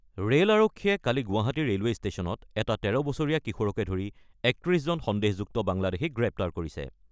Rail আৰক্ষীয়ে কালি Guwahati railway ষ্টেচনত এটি ১৩ বছৰীয়া কিশোৰকে ধৰি ৩১জন সন্দেহযুক্ত বাংলাদেশীক গ্ৰেপ্তাৰ কৰিছে।